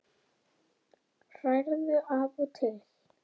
Hrærðu af og til.